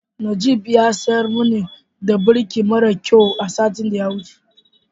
Najib ya siyar mani da birki maran kyau a satin da ya wuce.